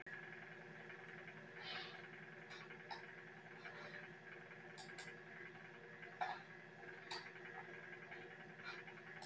Ætli þetta sé draumur einhverra fleiri?